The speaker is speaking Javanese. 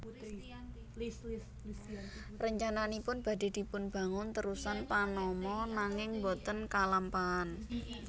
Rencananipun badhe dipunbangun terusan Panama nanging boten kalampahan